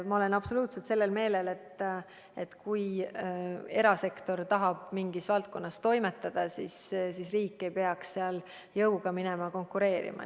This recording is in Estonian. Ma olen absoluutselt seda meelt, et kui erasektor tahab mingis valdkonnas toimetada, siis riik ei peaks seal jõuga konkureerima.